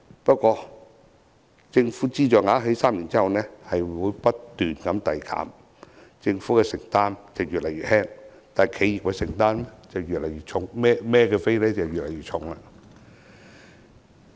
不過，政府資助額在3年後會不斷遞減，政府的承擔越來越輕，但企業的承擔則越來越重。